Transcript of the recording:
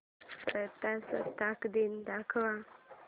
प्रजासत्ताक दिन दाखव